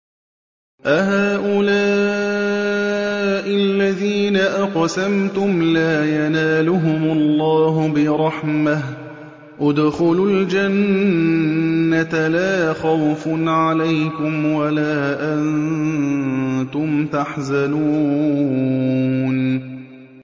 أَهَٰؤُلَاءِ الَّذِينَ أَقْسَمْتُمْ لَا يَنَالُهُمُ اللَّهُ بِرَحْمَةٍ ۚ ادْخُلُوا الْجَنَّةَ لَا خَوْفٌ عَلَيْكُمْ وَلَا أَنتُمْ تَحْزَنُونَ